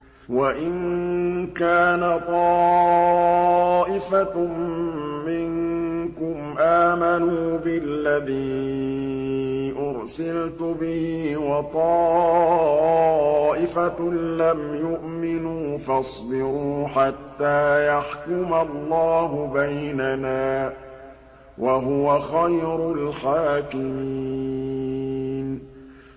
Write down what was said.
وَإِن كَانَ طَائِفَةٌ مِّنكُمْ آمَنُوا بِالَّذِي أُرْسِلْتُ بِهِ وَطَائِفَةٌ لَّمْ يُؤْمِنُوا فَاصْبِرُوا حَتَّىٰ يَحْكُمَ اللَّهُ بَيْنَنَا ۚ وَهُوَ خَيْرُ الْحَاكِمِينَ